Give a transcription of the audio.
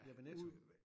Ja ved Netto